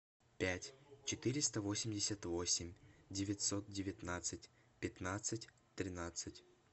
пять четыреста восемьдесят восемь девятьсот девятнадцать пятнадцать тринадцать